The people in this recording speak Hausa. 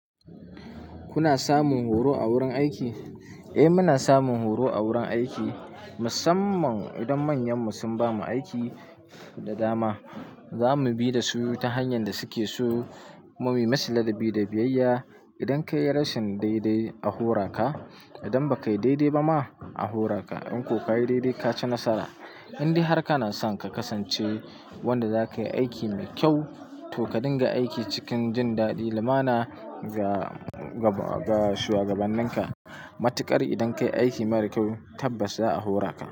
Kuna samun horo a wurin aiki? Eh, muna samun horo a wurin aiki musamman idan manyanmu sun bamu aiki da dama. Za mu bi da su ta hanyan da suke so. Kuma Mu yi musu ladabi da biyayya. Idan ka yi rashin daidai, a hora ka. Idan ba ka yi daidai ba ma, a hora ka. In ko ka yi daidai, ka ci nasara. Indai har ka na son ka kasance wanda za ka yi aiki mai kyau, to ka dinga aiki cikin jin daɗi lumana ga ga shuwagabanninka. Matukar idan ka yi aiki mara kyau tabbas za a hora ka.